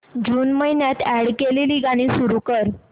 जून महिन्यात अॅड केलेली गाणी सुरू कर